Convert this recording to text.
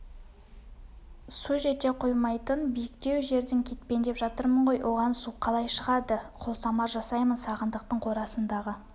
су жете қоймайтын биіктеу жерден кетпендеп жатырмын ғой оған су қалай шығады қолсамар жасаймын сағындықтың қорасындағы